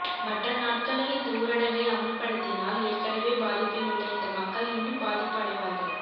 மற்ற நாட்களில் இந்த ஊரடங்கை அமுல்படுத்தினால் ஏற்கனவே பாதிப்பில் உள்ள இந்த மக்கள் இன்னும் பாதிப்பு அடைவார்கள்